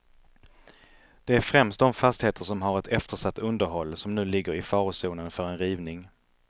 Det är främst de fastigheter som har ett eftersatt underhåll, som nu ligger i farozonen för en rivning.